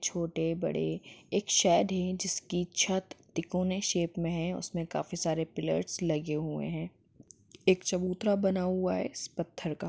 छोटे बड़े एक शेड जिसकी छत टायकून शेप में है उसमें काफी सारे पिल्लर्स लगे हुए हैं एक चबूतरा बना हुआ है इस पत्थर का--